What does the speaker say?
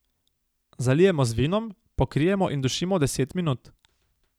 Zalijemo z vinom, pokrijemo in dušimo deset minut.